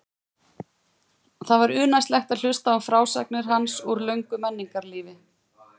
Það var unaðslegt að hlusta á frásagnir hans úr löngu menningarlífi.